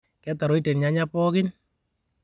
Ketaroite lnyanya pooki